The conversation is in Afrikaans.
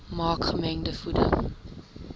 maak gemengde voeding